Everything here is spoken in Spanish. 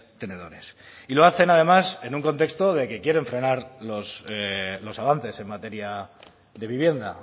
tenedores y lo hacen nada más en un contexto de que quieren frenar los avances en materia de vivienda